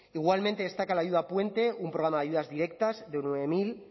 igualmente destaca la ayuda puente un programa de ayudas directas de nueve mil